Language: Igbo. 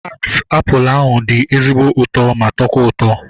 Taat apụl ahu dị ezigbo ụtọ ma tọkwa ụtọ